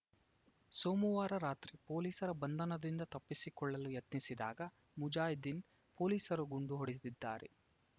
ಸೋಮವಾರ ರಾತ್ರಿ ಪೊಲೀಸರ ಬಂಧನದಿಂದ ತಪ್ಪಿಸಿಕೊಳ್ಳಲು ಯತ್ನಿಸಿದಾಗ ಮುಜಾದ್ದೀನ್‌ ಪೊಲೀಸರು ಗುಂಡು ಹೊಡೆದಿದ್ದಾರೆ